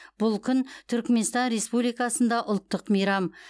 бұл күн түрікменстан республикасында ұлттық мейрам